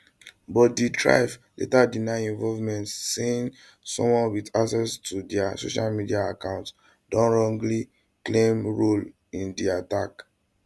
but di trf later deny involvement saying someone wit access to dia social media account don wrongly claim role in di attack